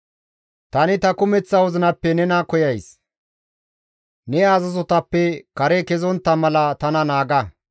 Tani ta kumeththa wozinappe nena koyays; ne azazotappe kare kezontta mala tana naaga.